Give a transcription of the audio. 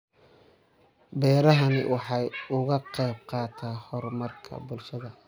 Beerahani waxa uu ka qayb qaataa horumarka bulshada.